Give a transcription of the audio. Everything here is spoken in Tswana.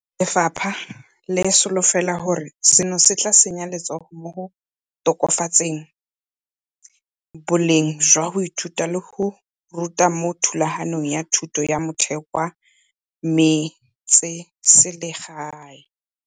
Lefapha le solofela gore seno se tla tsenya letsogo mo go tokafatseng boleng jwa go ithuta le go ruta mo thulaganyong ya thuto ya motheo kwa metseselegaeng.